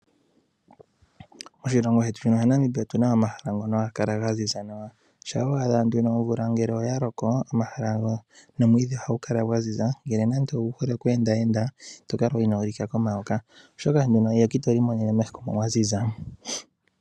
Moshilongo shetu shino shaNamibia otuna omahala ngono haga kala ga ziza nawa shaa wa adha nduno omvula ya loko omwiidhi ohagu kala gwa ziza ngele namdi owu hole okweendenda ito kala inoo lika komayoka, oshoka eyoka itoli mono uuna kwa ziza.